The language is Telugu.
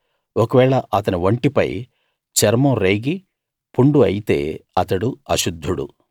ఒకవేళ అతని ఒంటిపై చర్మం రేగి పుండు అయితే అతడు అశుద్ధుడు